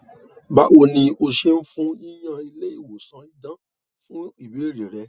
bawoni o ṣeun fun yiyan ile iwosan idan fun ibeere re